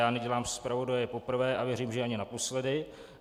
Já nedělám zpravodaje poprvé a věřím, že ani naposledy.